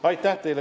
Aitäh teile!